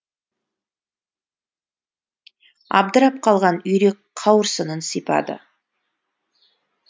абдырап қалған үйрек қауырсынын сипады